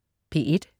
P1: